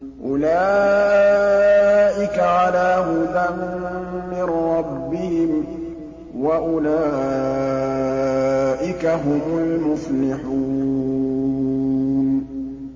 أُولَٰئِكَ عَلَىٰ هُدًى مِّن رَّبِّهِمْ ۖ وَأُولَٰئِكَ هُمُ الْمُفْلِحُونَ